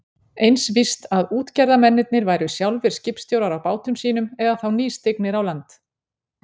Eins víst að útgerðarmennirnir væru sjálfir skipstjórar á bátum sínum eða þá nýstignir á land.